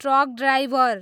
truck diver